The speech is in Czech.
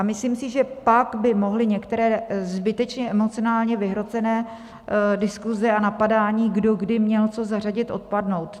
A myslím si, že pak by mohly některé zbytečně emocionálně vyhrocené diskuse a napadání, kdo kdy měl co zařadit, odpadnout.